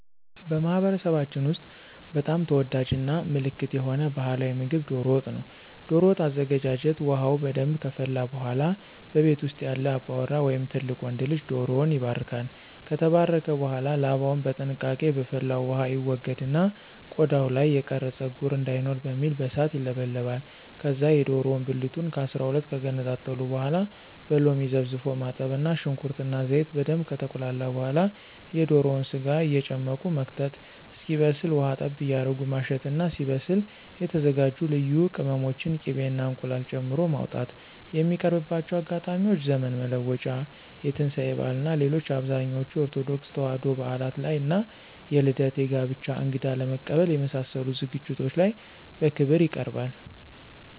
በማህበረሰባችን ውስጥ በጣም ተወዳጅ እና ምልክት የሆነ ባህላዊ ምግብ ዶሮ ወጥ ነው። ዶሮ ወጥ አዘገጃጀት ውሃው በደንብ ከፈላ በኃላ በቤት ውስጥ ያለ አባወራ ወይም ትልቅ ወንድ ልጅ ዶሮውን ይባርካል። ከተባረከ በኃላ ላባውን በጥንቃቄ በፈላው ውሃ ይወገድና ቆዳው ላይ የቀረ ፀጉር እንዳይኖር በሚል በእሳት ይለበለባል። ከዛ የዶሮውን ብልቱን ከ12 ከገነጣጠሉ በኃላ በሎሚ ዘፍዝፎ ማጠብ እና ሽንኩርት እና ዘይት በደንብ ከተቁላላ በኃላ የዶሮውን ስጋ እየጨመቁ መክተት እስኪበስል ውሃ ጠብ እያረጉ ማሸት እና ሲበስል የተዘጋጁ ልዩ ቅመሞችን፣ ቂቤ እና እንቁላል ጨምሮ ማውጣት። የሚቀርብባቸው አጋጣሚዎች ዘመን መለወጫ፣ የትንሳኤ በዓል እና ሌሎች አብዛኞቹ የኦርቶዶክስ ተዋሕዶ በዓላት ላይ እና የልደት፣ የጋብቻ፣ እንግዳ ለመቀበል የመሳሰሉት ዝግጅቶች ላይ በክብር ይቀርባል።